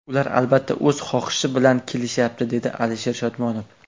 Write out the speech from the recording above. Ular, albatta, o‘z xohishi bilan kelishyapti”, dedi Alisher Shodmonov.